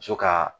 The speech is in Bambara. Muso ka